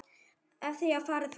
En því hefði farið fjarri.